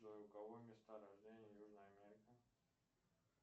джой у кого места рождения южная америка